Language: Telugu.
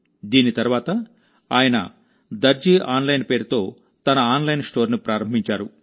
దీని తర్వాత ఆయన దర్జీ ఆన్లైన్ పేరుతో తన ఆన్లైన్ స్టోర్ను ప్రారంభించారు